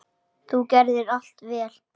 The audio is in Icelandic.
Þú gerðir allt vel.